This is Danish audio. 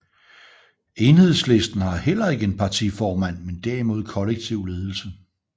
Enhedslisten har heller ikke en partiformand men derimod kollektiv ledelse